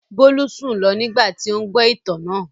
Bólú sùn lọ nígbà tí ó ń gbọ́ ìtàn náà.